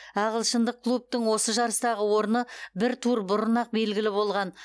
ағылшындық клубтың осы жарыстағы орны бір тур бұрын ақ белгілі болған